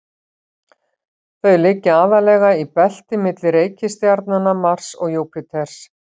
Þau liggja aðallega í belti milli reikistjarnanna Mars og Júpíters.